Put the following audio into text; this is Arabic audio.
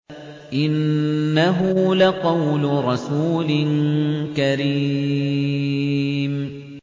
إِنَّهُ لَقَوْلُ رَسُولٍ كَرِيمٍ